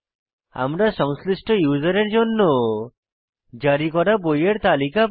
আমরা সংশ্লিষ্ট ইউসারের জন্য জারি করা বইয়ের তালিকা পাই